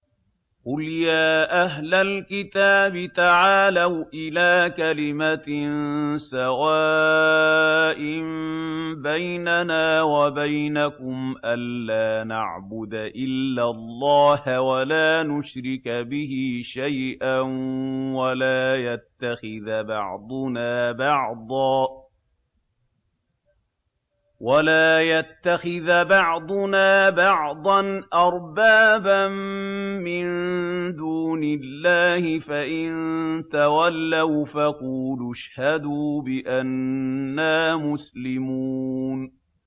قُلْ يَا أَهْلَ الْكِتَابِ تَعَالَوْا إِلَىٰ كَلِمَةٍ سَوَاءٍ بَيْنَنَا وَبَيْنَكُمْ أَلَّا نَعْبُدَ إِلَّا اللَّهَ وَلَا نُشْرِكَ بِهِ شَيْئًا وَلَا يَتَّخِذَ بَعْضُنَا بَعْضًا أَرْبَابًا مِّن دُونِ اللَّهِ ۚ فَإِن تَوَلَّوْا فَقُولُوا اشْهَدُوا بِأَنَّا مُسْلِمُونَ